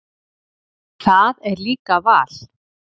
Það er líka val.